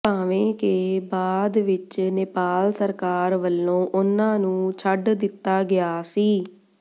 ਭਾਵੇਂ ਕਿ ਬਾਅਦ ਵਿੱਚ ਨੇਪਾਲ ਸਰਕਾਰ ਵੱਲੋਂ ਉਨ੍ਹਾਂ ਨੂੰ ਛਡ ਦਿੱਤਾ ਗਿਆ ਸੀ